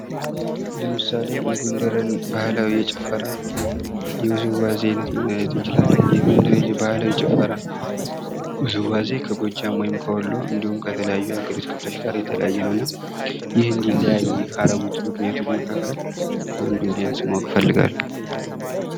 ለምሳሌ የጎንደርን ባህላዊ ጭፈራ የውዝዋዜ አይነት ማየት እንችላለን። የጎንደር ባህላዊ ጭፈራ ውዝዋዜ ከጎጃም ወይም የወሎ እኒድሁም ከተለያዩ ከሃገሪቱ ክፍሎች ጋር የተለያየ ነው እና ይህ እንዲለያይ ካረጉት ምክንያቶች መካከል አንዱን ቢያንስ ማወቅ እፈልጋለው።